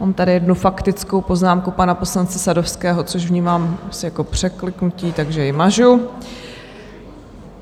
Mám tady jednu faktickou poznámku pana poslance Sadovského, což vnímám asi jako překliknutí, takže ji mažu.